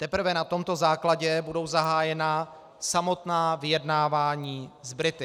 Teprve na tomto základě budou zahájena samotná vyjednávání s Brity.